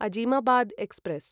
Azimabad express